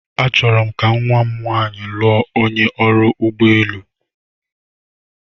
Achọrọ m ka nwa m nwanyị lụọ onye ọrụ ụgbọ elu.